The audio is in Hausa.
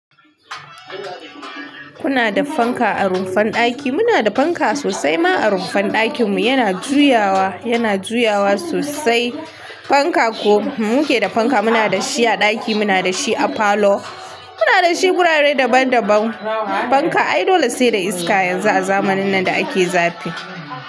Kuna da fanka a rumfar ɗaki. Muna da fanka sosai ma a rumfar ɗakinmu, yana juyawa, yana juyawa sosai fanka ko muke da fanka muna da shi a ɗaki, muna da shi a falo, muna da shi wurare daban daban fanka. Ai dole sai da iska yanzu a zamanin nan da ake zafi.